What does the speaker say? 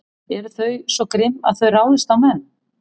Eru þau svo grimm að þau ráðist á menn?